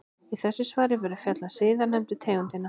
Í þessu svari verður fjallað um síðarnefndu tegundina.